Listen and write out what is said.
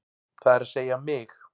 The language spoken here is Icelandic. Það er að segja mig.